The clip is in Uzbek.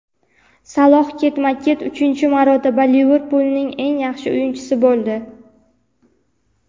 Saloh ketma-ket uchinchi marotaba "Liverpul"ning eng yaxshi o‘yinchisi bo‘ldi.